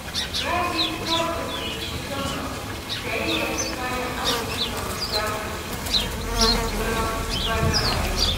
Rabi ta ƙudirce gama siyayyar kayan azumin Ramadana na bana a yau